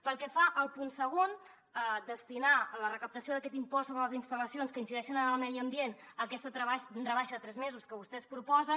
pel que fa al punt segon destinar la recaptació d’aquest impost sobre les instal·lacions que incideixen en el medi ambient a aquesta rebaixa de tres mesos que vostès proposen